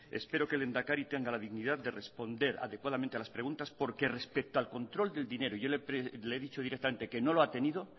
espero que el lehendakari tenga la dignidad de responder adecuadamente a las preguntas porque respecto al control del dinero y yo le he dicho directamente que no lo ha tenido